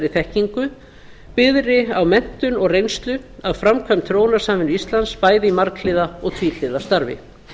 þekkingu byggðri á menntun og reynslu af framkvæmd þróunarsamvinnu íslands bæði í marghliða og tvíhliða starfi